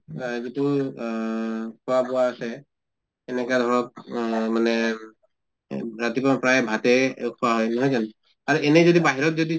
অহ যিটো অহ খোৱা বোৱা আছে এনেকা ধৰক অহ মানে এহ ৰাতিপুৱা প্ৰায় ভাতে খোৱা হয় নহয় জানো? আৰু এনে যদি বাহিৰত যদি